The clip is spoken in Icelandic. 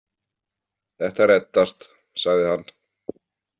Þetta reddast, sagði hann.